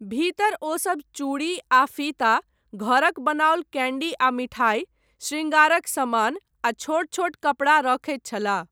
भीतर, ओसब चूड़ी आ फीता, घरक बनाओल कैन्डी आ मिठाइ, शृङ्गारक समान, आ छोट छोट कपड़ा रखैत छलाह।